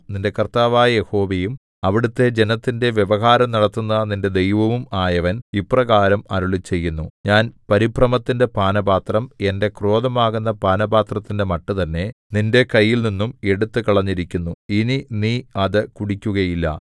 നിന്റെ കർത്താവായ യഹോവയും അവിടുത്തെ ജനത്തിന്റെ വ്യവഹാരം നടത്തുന്ന നിന്റെ ദൈവവും ആയവൻ ഇപ്രകാരം അരുളിച്ചെയ്യുന്നു ഞാൻ പരിഭ്രമത്തിന്റെ പാനപാത്രം എന്റെ ക്രോധമാകുന്ന പാനപാത്രത്തിന്റെ മട്ട് തന്നെ നിന്റെ കൈയിൽനിന്നും എടുത്തുകളഞ്ഞിരിക്കുന്നു ഇനി നീ അത് കുടിക്കുകയില്ല